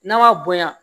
N'a ma bonya